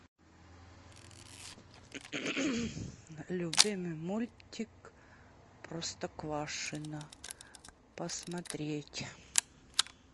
любимый мультик простоквашино посмотреть